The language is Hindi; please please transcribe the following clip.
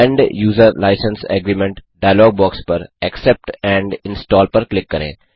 end user licence agreement dialog box पर एक्सेप्ट एंड इंस्टॉल पर क्लिक करें